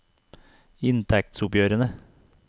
inntektsoppgjørene